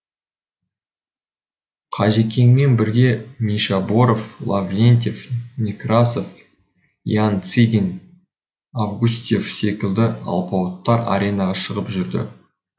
қажекеңмен бірге мишаборов лаврентьев некрасов ян цигин августьев секілді алпауыттар аренаға шығып жүрді